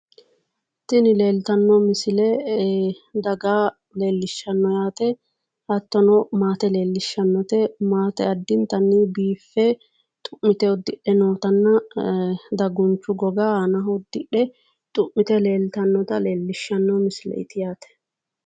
Tini leeltanno misile daga leellishshanno yaate hattono maate leellishshannote maate addintanni biiffe xu'mite uddidhe nootanna dagunchu goga aanaho uddidhe xu'mite leeltannota leellishshanno misileeti yaate